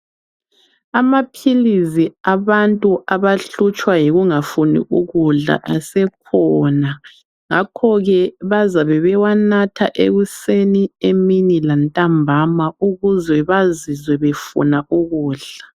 Amaphilisi abantu abahlutshwa yikungafuni ukudla asekhona ngakho ke bazabe bewanatha ekuseni emini lantambama ukuze bazizwe befuna ukudla